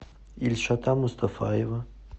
ильшата мустафаева